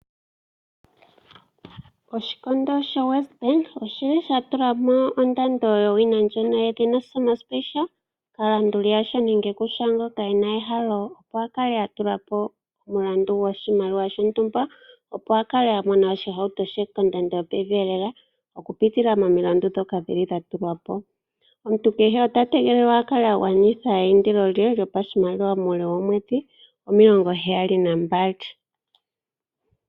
Oshikondo shoWesBank osha tula mo ondando yowina ndjono yedhina Summer Special kaalanduli yasho nenge kushaangoka e na ehalo, opo a kale a tula po omulandu goshimaliwa shontumba, opo a kale a mona oshihauto she kondando yopevi lela okupitila momilandu ndhoka dha tulwa po. Omuntu kehe ota tegelelwa a kale a gwanitha po eindilo lye lyopashimaliwa muule woomwedhi omilongoheyali nambali.